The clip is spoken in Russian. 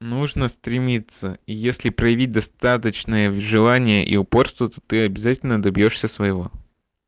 нужно стремиться и если проявить достаточное вжелание и упорство то ты обязательно добьёшься своего